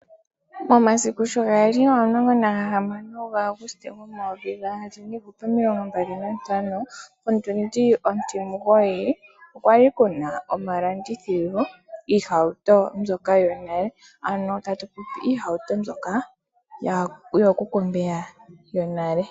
Omasiku sho gali omulongo naga hamano ga Auguste go omayovi gaali omilongo mbali nantano, otundi ontimugoyi okwali omalandithilo giihauto mbyoka yonale, ano tatu popi iihauto mbyoka yoo kuku mbeya yonale.